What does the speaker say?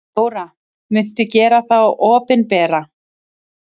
Þóra: Muntu gera þá opinbera?